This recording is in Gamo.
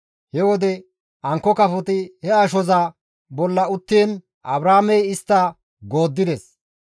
He wode ankko kafoti he ashoza bolla uttiin Abraamey istta gooddides.